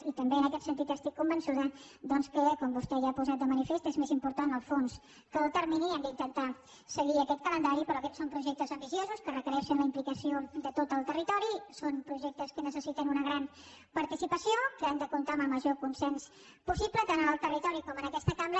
i també en aquest sentit estic convençuda doncs que com vostè ja ha posat de manifest és més important el fons que el termini i hem d’intentar seguir aquest calendari però aquests són projectes ambiciosos que requereixen la implicació de tot el territori són projectes que necessiten una gran participació que han de comptar amb el major consens possible tant en el territori com en aquesta cambra